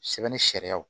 Sɛbɛn ni sariyaw